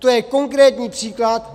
To je konkrétní příklad.